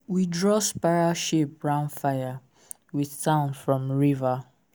we draw spiral shape round fire with sand from river.